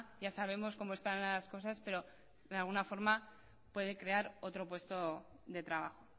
ya sabemos cómo están ahora las cosas pero de alguna forma puede crear otro puesto de trabajo